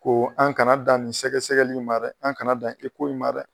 Ko an kana dan nin sɛgɛsɛgɛli in ma dɛ, an kana dan in ma dɛ.